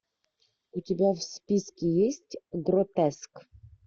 у тебя в списке есть гротеск